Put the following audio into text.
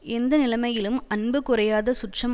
எந்த நிலைமையிலும் அன்பு குறையாத சுற்றம்